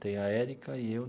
Tem a Erika e eu.